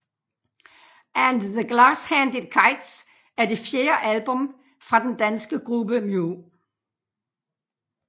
And The Glass Handed Kites er det fjerde album fra den danske gruppe Mew